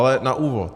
Ale na úvod.